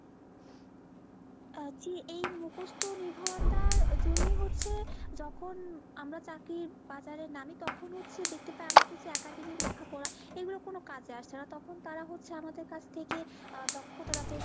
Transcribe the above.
আহ জি এই মুখস্ত নির্ভরতার জন্যে হচ্ছে যখন আমরা চাকরির বাজারে নামি তখন হচ্ছে দেখতে পাই আমাদের যে academic লেখাপড়া এইগুলো কোনো কাজে আসছে না তখন তারা হচ্ছে আমাদের কাছ থেকে আহ দক্ষতা যাচাই।